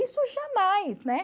Isso jamais, né?